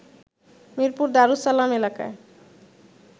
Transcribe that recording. মিরপুর দারুস সালাম এলাকায়